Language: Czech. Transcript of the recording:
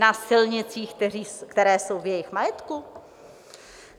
Na silnicích, které jsou v jejich majetku?